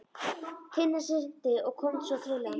Tinna synti og kom svo til hans.